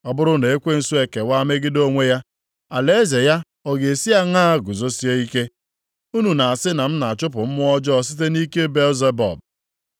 Ọ bụrụ na ekwensu ekewa megide onwe ya, alaeze ya ọ ga-esi aṅaa guzosie ike? Unu na-asị na m na-achụpụ mmụọ ọjọọ site nʼike Belzebub.